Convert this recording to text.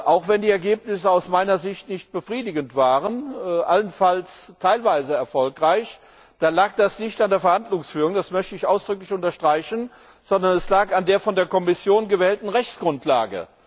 Auch wenn die Ergebnisse aus meiner Sicht nicht befriedigend waren, allenfalls teilweise erfolgreich, lag das nicht an der Verhandlungsführung das möchte ich ausdrücklich unterstreichen sondern es lag an der von der Kommission gewählten Rechtsgrundlage.